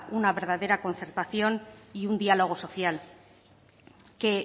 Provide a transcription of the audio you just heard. una verdadera concertación y un diálogo social que